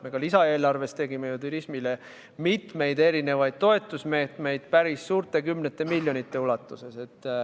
Ka lisaeelarves nägime ju turismile ette mitmeid toetusmeetmeid, päris palju, kümnete miljonite eurode ulatuses.